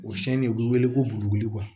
O siyɛnni o bɛ wele ko bugungili wa